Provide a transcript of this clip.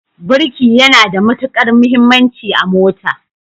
Birki yana da matukar muhimmanci a mota.